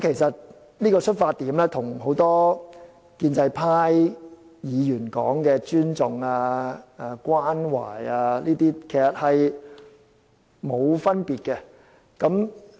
這個出發點與多位建制派議員所說的尊重、關懷等，其實並沒有分別。